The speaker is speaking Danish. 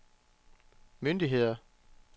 myndigheder